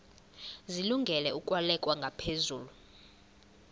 zilungele ukwalekwa ngaphezulu